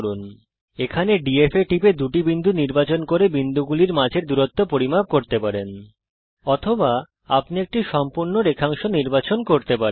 আপনি এখানে DF এ টিপে দুটি বিন্দু নির্বাচন করে বিন্দুগুলির মাঝের দূরত্ব পরিমাপ করতে পারেন অথবা আপনি একটি সম্পূর্ণ রেখাংশ নির্বাচন করতে পারেন